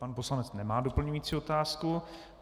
Pan poslanec nemá doplňující otázku.